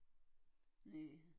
Næ